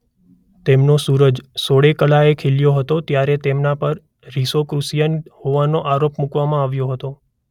તેમનો સૂરજ સોળે કળાએ ખીલ્યો હતો ત્યારે તેમના પર રોસીક્રુસિયન હોવાનો આરોપ મૂકવામાં આવ્યો હતો.